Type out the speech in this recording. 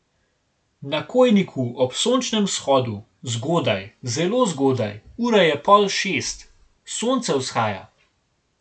Na Kojniku ob sončnem vzhodu, zgodaj, zelo zgodaj, ura je pol šest, sonce vzhaja.